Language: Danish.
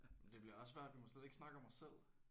Men det bliver også svært vi må slet ikke snakke om os selv